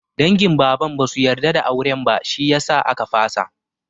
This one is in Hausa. Dangin Baban basu yarda da auren ba, shi yasa aka fasa.